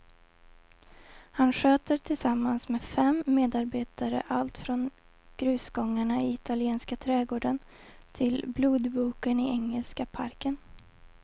Han sköter tillsammans med fem medarbetare allt från grusgångarna i italienska trädgården till blodboken i engelska parken.